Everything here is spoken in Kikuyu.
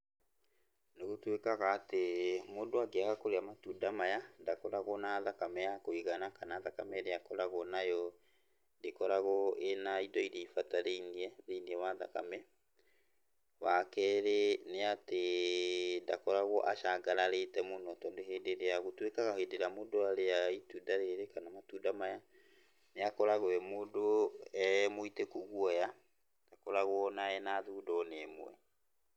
Nĩgũtuĩka atĩ mũndũ angĩaga kũrĩa matunda maya ndakoragwo na thakame ya kũigana, kana thakame ĩrĩa akoragwo nayo ndĩkoragwo ĩna indo iria ibatarĩinie thĩiniĩ wa thakame. Wakerĩ nĩ atĩ ndakoragwo acangararĩte mũno tondũ hĩndĩ ĩrĩa, gũtuĩkaga hĩndĩ ĩrĩa mũndũ arĩa itunda rĩrĩ kana matunda maya nĩ akoragwo e mũndũ e mũitĩku guoya, ndakoragwo na ena thundo ona ĩmwe.